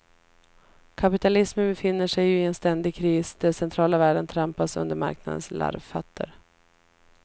Kapitalismen befinner sig ju i en ständig kris, där centrala värden trampas under marknadens larvfötter.